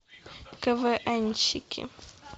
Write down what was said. квнщики